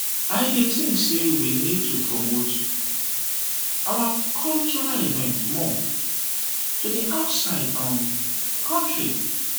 i dey think say we need to promote our cultural events more to di outside um di country.